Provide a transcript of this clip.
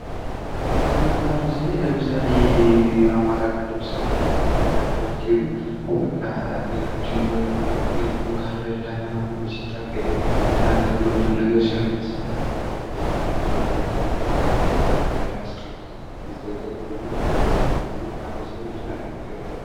ጥበብ እና ባህል ስናይ አማራ ክልል የጎንደር ማህበረሰብ ጋር ብትሄዱ በቃ በግድ ገልግሎ ካልበላህ ላንተ ብሎ ብዙ ነገር ሲሆንልህ ከዚህ ማህበረሰብ እንኳንም ተፈጠርሁ እላለሁ። እንዲህ አይነት ማህበረሰብን እጅግ አድርጌ እወዳለሁ።